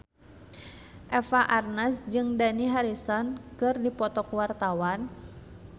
Eva Arnaz jeung Dani Harrison keur dipoto ku wartawan